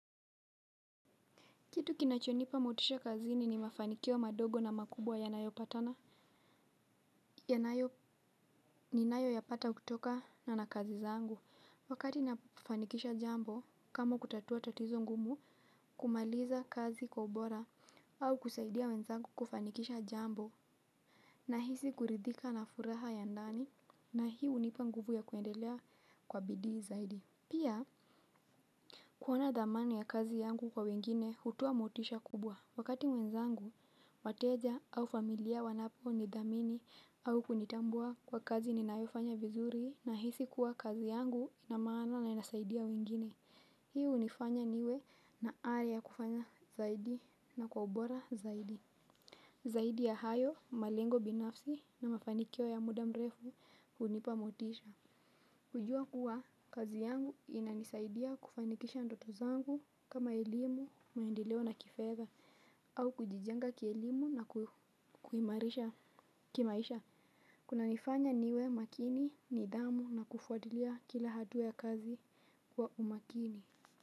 Kitu kinachonipa motisha kazini ni mafanikio madogo na makubwa yanayopatana. Yanayo ninayo yapata kutokana na kazi zangu. Wakati nafanikisha jambo kama kutatua tatizo ngumu kumaliza kazi kwa ubora au kusaidia wenzangu kufanikisha jambo nahisi kuridhika na furaha ya ndani na hii hunipa nguvu ya kuendelea kwa bidii zaidi. Pia kuona dhamani ya kazi yangu kwa wengine hutoa motisha kubwa. Wakati mwenzangu, wateja au familia wanaponithamini au kunitambua kwa kazi ninayofanya vizuri nahisi kuwa kazi yangu ina maana na inasaidia wengine. Hii hunifanya niwe na ari ya kufanya zaidi na kwa ubora zaidi. Zaidi ya hayo, malengo binafsi na mafanikyo ya muda mrefu hunipa motisha. Kujua kuwa, kazi yangu inanisaidia kufanikisha ndoto zangu kama elimu, maendeleo na kifedha, au kujijenga kielimu na kuimarisha kimaisha. Kunanifanya niwe makini, nidhamu na kufuatilia kila hatua ya kazi kwa umakini.